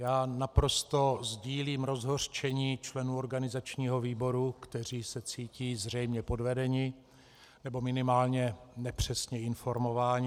Já naprosto sdílím rozhořčení členů organizačního výboru, kteří se cítí zřejmě podvedeni, nebo minimálně nepřesně informováni.